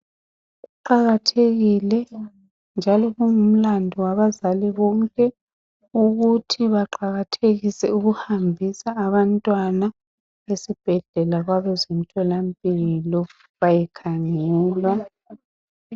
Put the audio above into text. Kuqakathekile njalo kungumlandu wabazali bonke ukuthi behambise abantwana esibhedlela kwabezempilakahle bayekhangelwa